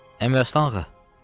Əmiraslan ağa.